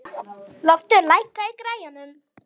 Loftur, lækkaðu í græjunum.